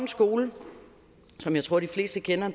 skole som jeg tror de fleste kender